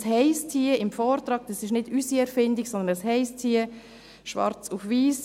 Es heisst hier im Vortrag – dies ist nicht unsere Erfindung, sondern es heisst hier schwarz auf weiss: